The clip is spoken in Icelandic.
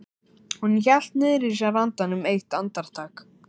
Hún hélt niðri í sér andanum eitt andartak.